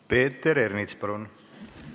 Peeter Ernits, palun!